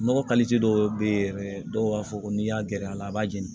Nɔgɔ dɔw be ye yɛrɛ dɔw b'a fɔ ko n'i y'a gɛrɛ a la a b'a jeni